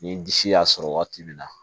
Ni disi y'a sɔrɔ waati min na